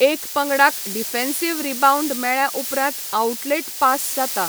एका पंगडाक defensive rebound मेळ्ळ्या उपरांत आउटलेट पास जाता.